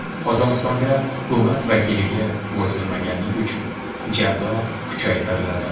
Qozog‘istonda hukumat vakiliga bo‘ysunmaganlik uchun jazo kuchaytiriladi.